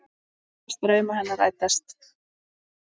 Þú lést drauma hennar rætast.